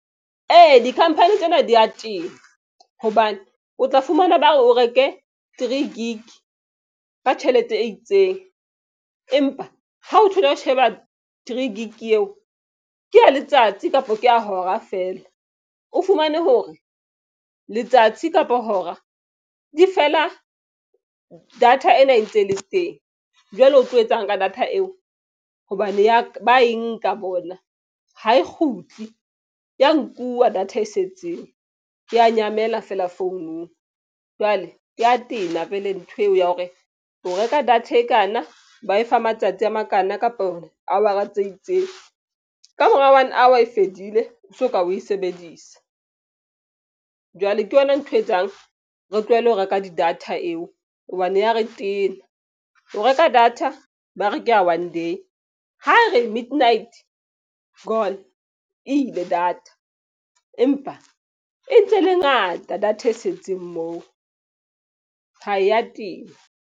Ee, di-company tsena di ya tena. Hobane o tla fumana ba hore o reke three Gig ka tjhelete e itseng. Empa ha o thola o sheba three gig eo ke ya letsatsi kapa ke ya hora feela. O fumane hore letsatsi kapa hora di fela data ena e ntse e le teng. Jwale o tlo etsang ka data eo hobane ba e nka bona. Ha e kgutli ya nkuwa data e setseng ya nyamela feela phone-ung. Jwale e ya tena vele ntho eo ya hore o reka data e kana ba e fa matsatsi a makana kapo awara tse itseng. Ka mora one hour e fedile, o soka o e sebedisa. Jwale ke yona ntho etsang re tlohele ho reka di-data eo, hobane ya re tena. O reka data ba re ke ya one day, ha e re midnight, gone e ile data. Empa e ntse e le ngata data e setseng moo ha e ya tena.